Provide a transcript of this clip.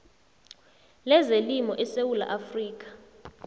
lezelimo esewula afrika